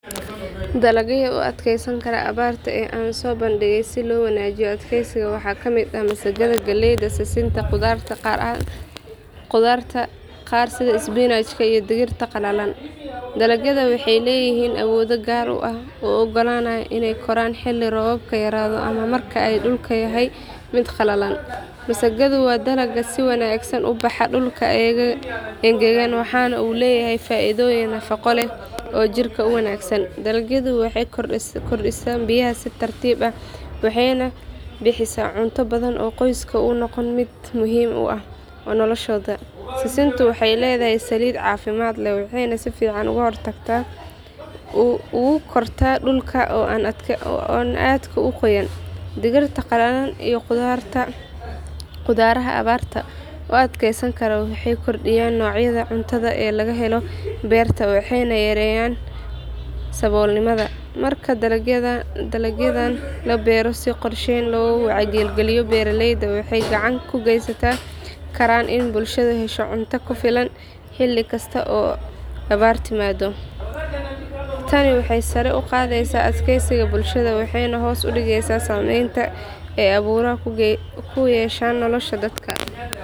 Dalagyada u adkeysan kara abaarta ee aan soo bandhigay si loo wanaajiyo adkeysiga waxaa ka mid ah masagada, galleyda, sisinta, qudaaraha qaar sida isbinaajka iyo digirta qallalan. Dalagyadan waxay leeyihiin awoodo gaar ah oo u oggolaanaya inay koraan xilli roobaadka yaraado ama marka ay dhulku yahay mid qalalan. Masagadu waa dalag si wanaagsan ugu baxa dhulka engegan waxana uu leeyahay faa’iidooyin nafaqo leh oo jirka u wanaagsan. Galleydu waxay korodhsataa biyaha si tartiib ah waxayna bixisaa cunto badan oo qoysaska u noqota mid muhiim u ah noloshooda. Sisintu waxay leedahay saliid caafimaad leh waxayna si fiican ugu kortaa dhulka aan aadka u qoynayn. Digirta qallalan iyo qudaaraha abaarta u adkeysan kara waxay kordhiyaan noocyada cuntada ee laga helo beerta waxayna yareeyaan saboolnimada. Marka dalagyadan la beero si qorshaysan oo loo wacyigeliyo beeraleyda waxay gacan ka geysan karaan in bulshadu hesho cunto ku filan xilli kasta oo abaar timaaddo. Tani waxay sare u qaadaysaa adkeysiga bulshada waxayna hoos u dhigtaa saameynta ay abaaruhu ku yeeshaan nolosha dadka.